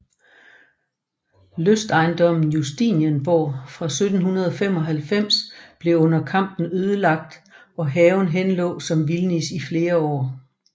Lystejendommen Justinenborg fra 1795 blev under kampen ødelagt og haven henlå som vildnis i flere år